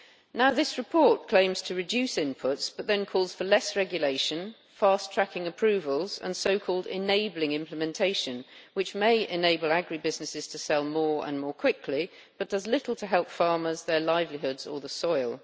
Now this report claims to reduce inputs, but then calls for less regulation, the fast tracking of approvals and so called enabling implementation', which may enable agri businesses to sell more and more quickly, but does little to help farmers, their livelihoods, or the soil.